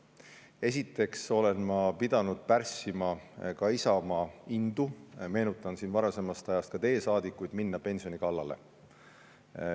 Esiteks olen ma pidanud pärssima ka Isamaa indu – meenutan siinkohal ka teie saadikuid varasemast ajast – minna pensioni kallale.